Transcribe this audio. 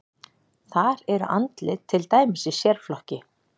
Þar eru andlit til dæmis í sérflokki.